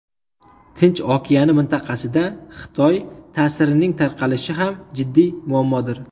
Tinch okeani mintaqasida Xitoy ta’sirining tarqalishi ham jiddiy muammodir”.